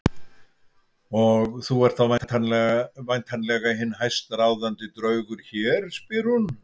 Og þú ert þá væntanlega hinn hæstráðandi draugur hér, spyr hún.